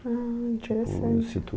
Ah, interessante.